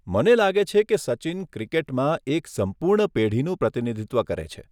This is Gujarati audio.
મને લાગે છે કે સચિન ક્રિકેટમાં એક સંપૂર્ણ પેઢીનું પ્રતિનિધિત્વ કરે છે.